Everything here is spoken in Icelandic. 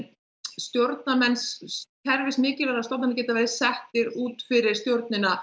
stjórnarmenn kerfismiklivægra stofnanna geti verið settir út fyrir stjórnina